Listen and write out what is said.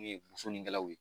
U ye bosonnikɛlaw ye